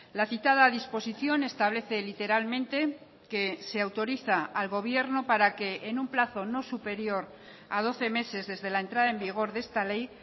la citada disposición establece literalmente que se autoriza al gobierno para que en un plazo no superior a doce meses desde la entrada en vigor de esta ley